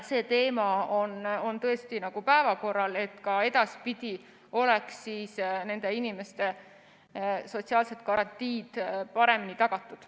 See teema on tõesti päevakorral, et edaspidi oleksid nende inimeste sotsiaalsed garantiid paremini tagatud.